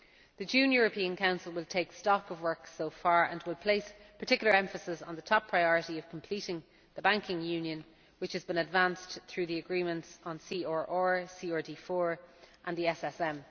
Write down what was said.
The June European Council will take stock of work so far, and will place particular emphasis on the top priority of completing the banking union, which has been advanced through the agreements on CRR CRD IV and the SSM.